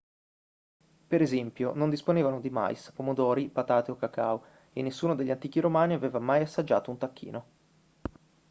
per esempio non disponevano di mais pomodori patate o cacao e nessuno degli antichi romani aveva mai assaggiato un tacchino